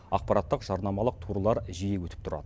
ақпараттық жарнамалық турлар жиі өтіп тұрады